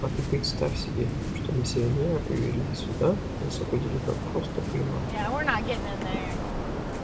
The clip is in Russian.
а ты представь себе что миссионера привели сюда и освободили как просто приманку